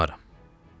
Bacarmaram.